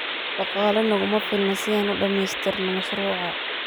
Dhaqaale naguma filna si an uu dhamaystirna mashruuca.